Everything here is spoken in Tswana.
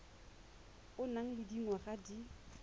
o nang le dingwaga di